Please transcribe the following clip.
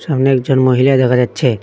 সামনে একজন মহিলা দেখা যাচ্ছে।